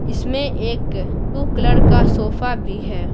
इसमें एक blue colour का सोफा भी है।